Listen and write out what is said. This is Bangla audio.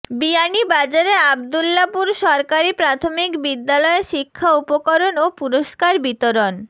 বিয়ানীবাজারে আব্দুল্লাপুর সরকারি প্রাথমিক বিদ্যালয়ে শিক্ষা উপকরণ ও পুরস্কার বিতরণ